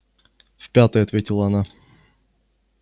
в пятый ответила она